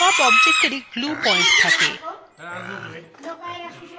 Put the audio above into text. সব objectsএরই glue point থাকে